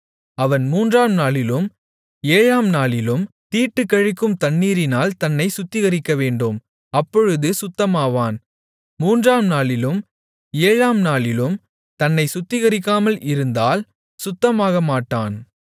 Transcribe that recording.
அவன் மூன்றாம் நாளிலும் ஏழாம் நாளிலும் தீட்டுக்கழிக்கும் தண்ணீரினால் தன்னைச் சுத்திகரிக்கவேண்டும் அப்பொழுது சுத்தமாவான் மூன்றாம் நாளிலும் ஏழாம் நாளிலும் தன்னைச் சுத்திகரிக்காமல் இருந்தால் சுத்தமாகமாட்டான்